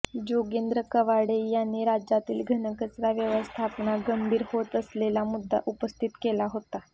जोगेंद्र कवाडे यांनी राज्यातील घनकचरा व्यवस्थापना गंभीर होत असलेला मुद्दा उपस्थित केला होता